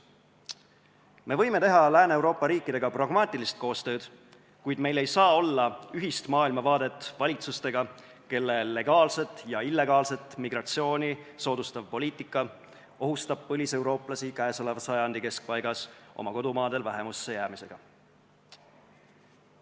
Me võime teha Lääne-Euroopa riikidega pragmaatilist koostööd, kuid meil ei saa olla ühist maailmavaadet valitsustega, kelle legaalset ja illegaalset migratsiooni soodustav poliitika ohustab põliseurooplasi käeoleva sajandi keskpaigas oma kodumaadel vähemusse jäämisega.